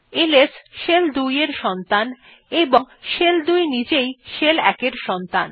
LS shell ২ এর সন্তান এবং শেল ২ নিজেই শেল ১ এর সন্তান